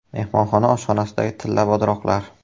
Mehmonxona oshxonasidagi tilla bodroqlar.